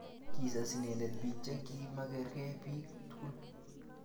kisas inendet biik che kima ikerkei biik tugul